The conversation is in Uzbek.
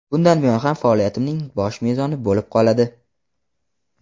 bundan buyon ham faoliyatimning bosh mezoni bo‘lib qoladi.